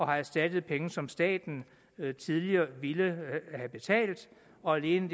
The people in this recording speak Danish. har erstattet penge som staten tidligere ville have betalt og alene